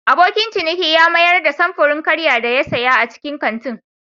Abokin ciniki ya mayar da samfurin karya da ya siya a cikin kantin.